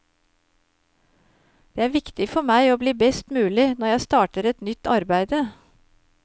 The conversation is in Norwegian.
Det er viktig for meg å bli best mulig når jeg starter et nytt arbeide.